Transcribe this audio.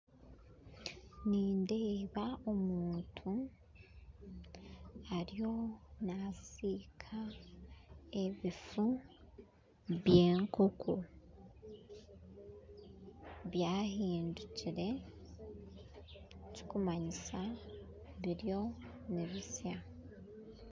Nindeeba omuntu ariyo nasiika ebifu by'enkoko byahindukire ekirikumanyisa biriyo nibisya